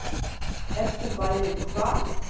Ef þú værir hvað?